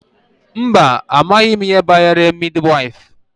Mba, amaghị m ihe banyere midi waịfụ.